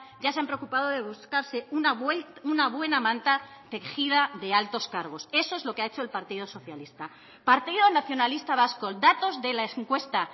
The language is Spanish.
ya se han preocupado de buscarse una buena manta tejida de altos cargos eso es lo que ha hecho el partido socialista partido nacionalista vasco datos de la encuesta